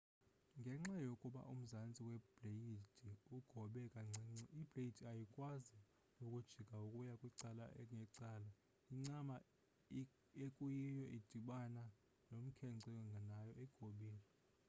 ngenxa yokuba umzantsi webleyidi ugobe kancinci ibleyidi iyakwazi ukujika ukuya kwicala ngecala incam ekuyiyio edibana nomkhenkce nayo igobile